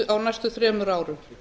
á næstu þremur árum